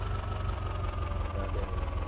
അതേയതെ.